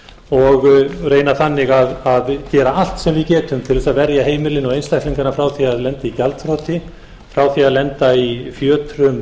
og reyna þannig að gera allt sem við getum til þess að verja heimilin og einstaklingana frá því að lenda í gjaldþroti frá því að lenda í fjötrum